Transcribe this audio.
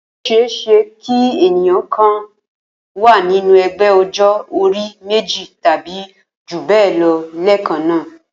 Ó s̩e é s̩e kí ènìyàn kan wà nínú e̩gbé̩ o̩jó̩-orí méjì tàbí jù bé̩è̩ lo̩ lé̩è̩kan náà